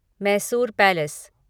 Mysore palace